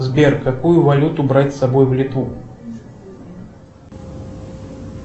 сбер какую валюту брать с собой в литву